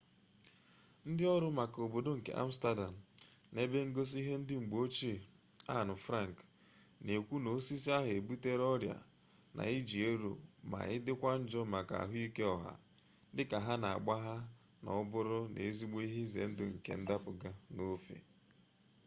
ndị ọrụ maka obodo nke amstardam na ebe ngosi ihe ndị mgbe ochie anne frank na-ekwu na osisi ahụ ebutela ọrịa n'iji ero ma dịkwa njọ makka ahụike ọha dịka ha na-agbagha na ọ nọbụrụ n'ezigbo ihe ize ndụ nke ịdapụga n'ofe